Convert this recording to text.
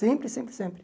Sempre, sempre, sempre.